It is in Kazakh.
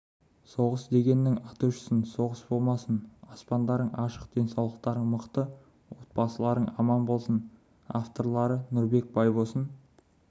соғыс дегеннің аты өшсін соғыс болмасын аспандарың ашық денсаулықтарың мықты отбасыларың аман болсын авторлары нұрбек байбосын